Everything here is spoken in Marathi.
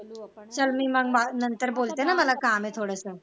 चल मग मी ना नंतर बोलते ना मला काम आहे थोडस